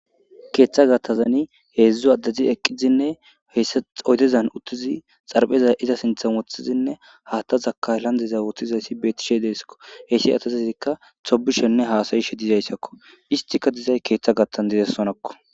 keeththa gathazani heedzdzu addezi eqqizinne hsa oydezan uttizi xarpheza iza sinthan woththizinne haatta zaka landeza wottizayssi beetishe deeskko heyssi atazazikka tobishenne haasayishe dizayssakko istika dizay keeththa gattan dizessonakko